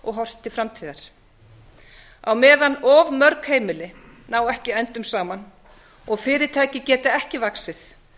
og horft til framtíðar á meðan of mörg heimili ná ekki endum saman og fyrirtæki geta ekki vaxið